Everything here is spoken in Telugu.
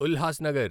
ఉల్హాస్నగర్